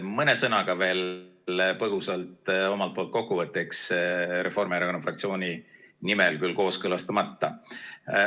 Mõne sõnaga veel põgusalt omalt poolt kokkuvõtteks, Reformierakonna fraktsiooniga küll kooskõlastamata.